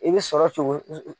I bɛ sɔrɔ cogo